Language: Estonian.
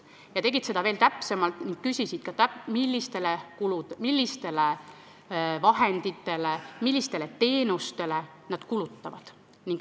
Nad tegid seda veel täpsemalt ning küsisid ka, millistele vahenditele, millistele teenustele vanemad kulutavad.